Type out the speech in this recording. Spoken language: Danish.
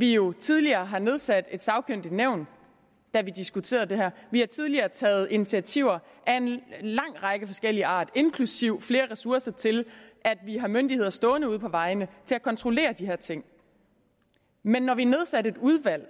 vi jo tidligere har nedsat et sagkyndigt nævn da vi diskuterede det her vi har tidligere taget initiativer af forskellig art inklusive flere ressourcer til at vi har myndigheder stående ude på vejene til at kontrollere de her ting men når vi nedsatte et udvalg